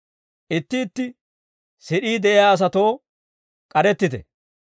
Itti itti sid'ii de'iyaa asatoo k'arettite.